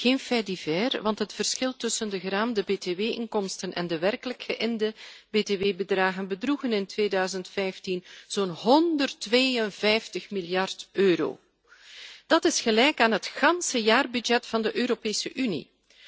Geen fait divers, want het verschil tussen de geraamde btw inkomsten en de werkelijk geïnde btw bedragen bedroeg in 2015 zo'n 152 miljard euro. Dat is gelijk aan de gehele jaarbegroting van de Europese Unie.